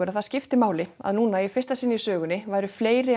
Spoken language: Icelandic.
að það skipti máli að í fyrsta sinn í sögunni væru fleiri